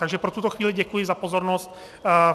Takže pro tuto chvíli děkuji za pozornost.